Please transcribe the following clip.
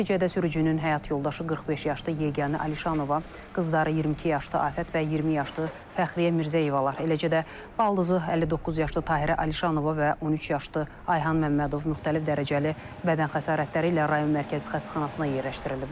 Nəticədə sürücünün həyat yoldaşı 45 yaşlı Yeganə Əlişanova, qızları 22 yaşlı Afət və 20 yaşlı Fəxriyə Mirzəyevlar, eləcə də baldızı 59 yaşlı Tahirə Əlişanova və 13 yaşlı Ayxan Məmmədov müxtəlif dərəcəli bədən xəsarətləri ilə rayon mərkəzi xəstəxanasına yerləşdiriliblər.